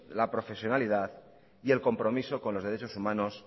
la profesionalidad y el compromiso con los derechos humanos